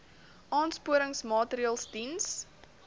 aansporingsmaatre ls diens